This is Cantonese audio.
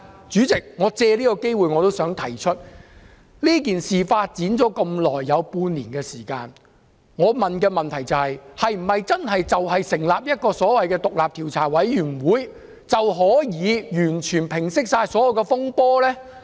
主席，我想藉此機會提出，事件發展至今半年，經歷這麼長的時間，成立所謂的獨立調查委員會，是否真的可以完全平息所有風波？